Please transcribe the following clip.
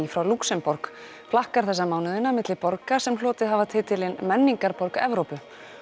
frá Lúxemborg flakkar þessa mánuðina á milli borga sem hlotið hafa titilinn menningarborg Evrópu